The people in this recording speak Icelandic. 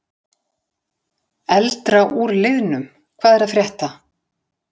Eldra úr liðnum Hvað er að frétta?